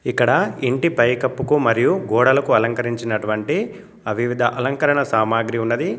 ఇక్కడ ఇంటి పైకప్పుకు మరియు గోడలకు అలంకరించినటువంటి అ వివిధ అలంకరణ సామాగ్రి ఉన్నది.